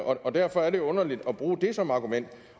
og derfor er det underligt at bruge det som argument